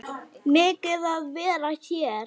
Megið þið vera hér?